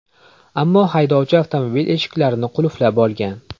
Ammo haydovchi avtomobil eshiklarini qulflab olgan.